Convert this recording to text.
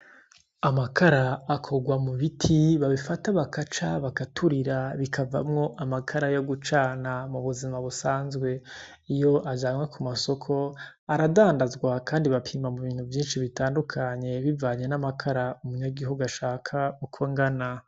Amakara akorwa mu biti babifata bagaca, bagaturira, bikavamwo amakara yo gucana mu buzima busanzwe. Iyo azanywe ku masoko, aradandazwa kandi bapima mu bintu vyinshi bitandukanye bivaye n'amakara umunyagihugu ashaka uko angana.